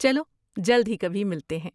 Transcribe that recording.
چلو جلد ہی کبھی ملتے ہیں۔